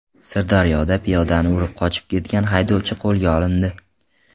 Sirdaryoda piyodani urib qochib ketgan haydovchi qo‘lga olindi.